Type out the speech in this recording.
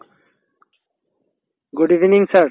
good evening, sir